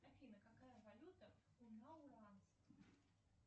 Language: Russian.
афина какая валюта у